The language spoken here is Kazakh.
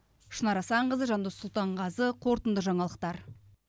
шынар асанқызы жандос сұлтанғазы қорытынды жаңалықтар